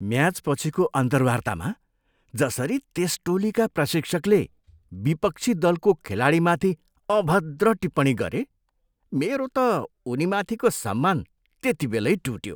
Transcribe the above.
म्याचपछिको अन्तर्वार्तामा जसरी त्यस टोलीका प्रशिक्षकले विपक्षी दलको खेलाडीमाथि अभद्र टिप्पणी गरे, मेरो त उनीमाथिको सम्मान त्यतिबेलै टुट्यो।